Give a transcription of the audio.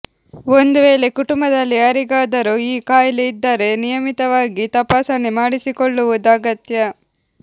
ಒಂದು ವೇಳೆ ಕುಟುಂಬದಲ್ಲಿ ಯಾರಿಗಾದರೂ ಈ ಕಾಯಿಲೆ ಇದ್ದರೆ ನಿಯಮಿತವಾಗಿ ತಪಾಸಣೆ ಮಾಡಿಸಿಕೊಳ್ಳುವುದು ಅಗತ್ಯ